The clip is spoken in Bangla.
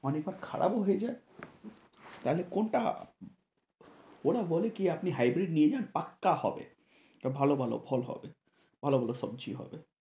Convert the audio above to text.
অনেকবার খারাপ ও হয়ে যায় তাহলে কোনটা ওরা বলে কি আপনি hybrid নিয়ে যান পাক্কা হবে ভালো ভালো ফল হবে ভালো ভালো সবজি হবে,